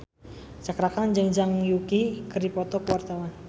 Cakra Khan jeung Zhang Yuqi keur dipoto ku wartawan